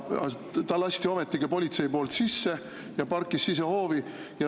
Ta lasti ometigi politsei poolt sisse ja ta parkis sisehoovi.